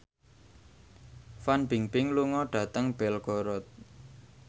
Fan Bingbing lunga dhateng Belgorod